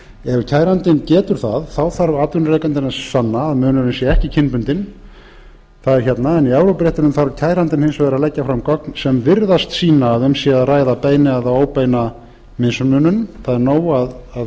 ef kærandinn getur það þarf atvinnurekandinn að sanna að munurinn sé ekki kynbundinn en í evrópuréttinum þarf kærandinn hins vegar að leggja fram gögn sem virðast sýna að um sé að ræða beina eða óbeina mismunun það er nóg að þau